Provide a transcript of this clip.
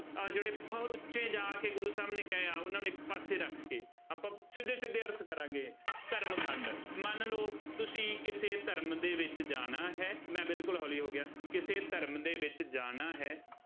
ਆਹ ਜਿਹੜੇ ਬਹੁਤ ਉੱਚੇ ਜਾ ਕੇ ਗੁਰੂ ਸਾਹਿਬ ਨੇ ਕਹੇ ਆ, ਉਹਨਾ ਨੂੰ ਇੱਕ ਪਾਸੇ ਰੱਖ ਕੇ, ਆਪਾਂ ਸਿੱਧੇ ਸਿੱਧੇ ਅਰਥ ਕਰਾਂਗੇ। ਧਰਮ ਖੰਡ, ਮੰਨ ਲਉ ਤੁਸੀਂ ਕਿਸੇ ਧਰਮ ਦੇ ਵਿੱਚ ਜਾਣਾ ਹੈ ਮੈਂ ਬਿਲਕੁੱਲ ਹੌਲੀ ਹੋ ਗਿਆ, ਕਿਸੇ ਧਰਮ ਦੇ ਵਿੱਚ ਜਾਣਾ ਹੈ।